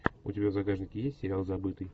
у тебя в загашнике есть сериал забытый